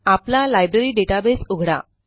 आपला library database उघडा